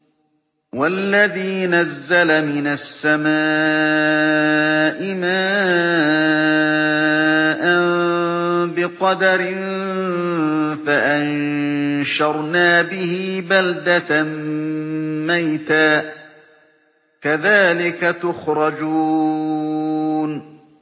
وَالَّذِي نَزَّلَ مِنَ السَّمَاءِ مَاءً بِقَدَرٍ فَأَنشَرْنَا بِهِ بَلْدَةً مَّيْتًا ۚ كَذَٰلِكَ تُخْرَجُونَ